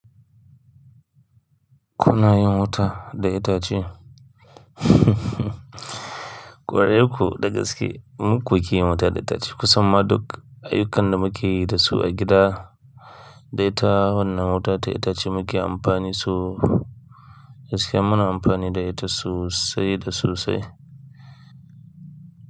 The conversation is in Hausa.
Kuna yin wuta da itace? Ƙwarai ku, da gaske. Mu ko ke yi wuta da itace. Kusan ma duk ayyukan da muke yi da su a gida, dai ta wannan wuta ta itace muke amfani su. Da gaske muna amfani da ita sosai da sosai.